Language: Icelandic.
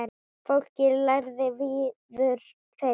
Fólkið lærði vísur þeirra.